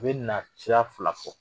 U be na ciya fila fɔ.